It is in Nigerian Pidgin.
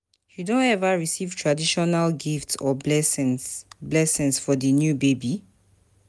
you don ever receive traditional gifts or blessings blessings for di new baby?